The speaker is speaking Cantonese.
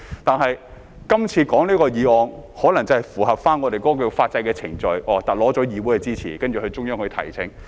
但是，這次討論這項議案可能是要符合我們法制的程序，取得議會的支持，然後向中央提請。